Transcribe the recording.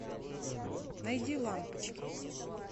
найди лампочки